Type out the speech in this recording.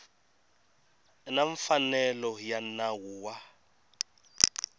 na mfanelo ya nawu wa